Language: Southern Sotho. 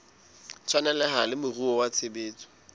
tshwaneleha le moruo wa tshebetso